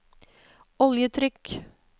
oljetrykk